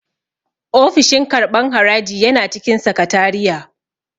Ofishin karɓan haraji yana cikin sakatariya